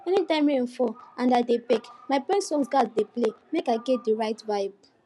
any time rain fall and i dey bake my best songs gas dey play make i get the right vibe